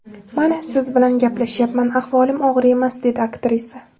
Mana siz bilan gaplashyapman, ahvolim og‘ir emas”, dedi aktrisa.